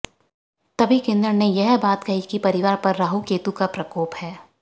तभी किन्नर ने यह बात कही कि परिवार पर राहू केतू का प्रकोप है